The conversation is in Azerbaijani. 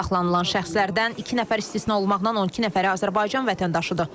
Saxlanılan şəxslərdən iki nəfər istisna olunmaqla 12 nəfəri Azərbaycan vətəndaşıdır.